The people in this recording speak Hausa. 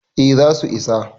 eh za su isa